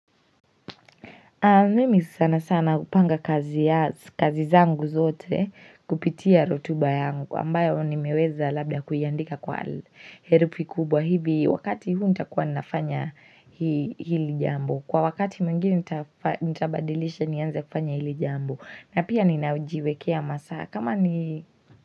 Mimi sanasana hupanga kazi kazi zangu zote kupitia rotuba yangu ambayo nimeweza labda kuiandika kwa herufi kubwa hivi wakati huu nitakuwa nafanya hili jambo. Kwa wakati mwingine nitabadilisha nianze kufanya hili jambo. Na pia ninajiwekea masaa kama.